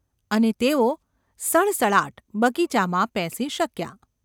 અને તેઓ સડસડાટ બગીચામાં પેસી શક્યા.